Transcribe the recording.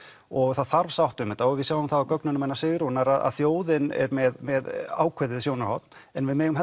og það þarf sátt um þetta og við sjáum það á gögnunum hennar Sigrúnar að þjóðin er með með ákveðið sjónarhorn en við megum